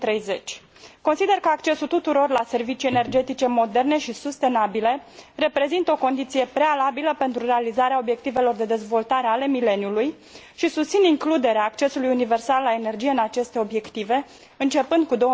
2030. Consider că accesul tuturor la servicii energetice moderne și sustenabile reprezintă o condiție prealabilă pentru realizarea obiectivelor de dezvoltare ale mileniului, și susțin includerea accesului universal la energie în aceste obiective, începând cu